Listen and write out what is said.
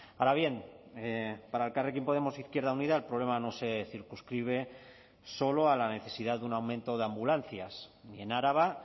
ahora bien para elkarrekin podemos izquierda unida el problema no se circunscribe solo a la necesidad de un aumento de ambulancias ni en araba